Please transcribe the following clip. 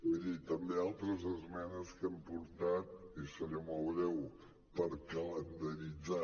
miri també altres esmenes que hem portat i seré molt breu per calendaritzar